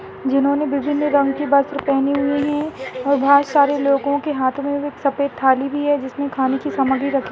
जिन्होंने विभिन्न रंग के वस्त्र पहने हुए है व बहुत सारे लोगो के हाथो में एक सफ़ेद थाली भी है जिसमे खाने की सामग्री रखी।